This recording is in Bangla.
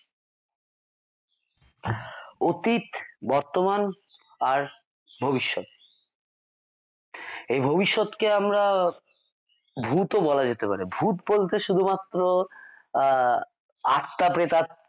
অতীত বর্তমান আর এই ভবিষ্যৎ কে আমরা ভূত ও বলা যেতে পারে ভূত বলতে শুধুমাত্র আহ আত্মা প্রেতাত্মা